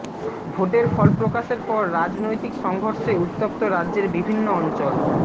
ভোটের ফলপ্রকাশের পর রাজনৈতিক সংঘর্ষে উত্তপ্ত রাজ্যের বিভিন্ন অঞ্চল